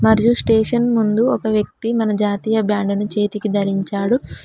మరియు స్టేషన్ ముందు ఒక వ్యక్తి మన జాతీయ బ్యాండ్ ను చేతికి ధరించాడు.